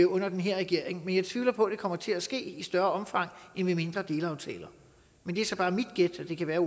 under den her regering men jeg tvivler på det kommer til at ske i et større omfang end med mindre delaftaler men det er så bare mit gæt og det kan være